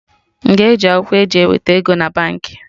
M ga eji akwụkwọ e ji eweta ego na Baankị?